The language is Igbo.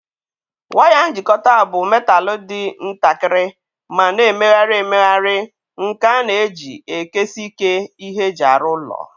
Waya njikọta bụ metalụ dị ntakịrị ma na-emegharị emegharị nke a na-eji ekesiike ihe eji arụ ụlọ.